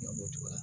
Ɲɔbonra